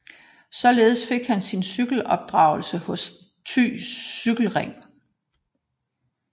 Således fik han sin cykelopdragelse hos Thy Cykle Ring